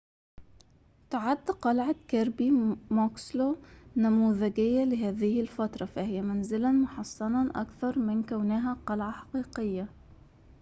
تعد قلعة كيربي موكسلو نموذجية لهذه الفترة فهي منزلاً محصناً أكثر من كونها قلعة حقيقية